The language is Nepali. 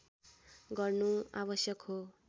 गर्नु आवश्यक हो